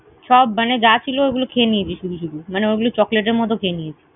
সব মানে যা ছিল ওগুলো খেয়ে নিয়েছি শুধু শুধু, মানে ওগুলো chocolate এর মত খেয়ে নিয়েছি।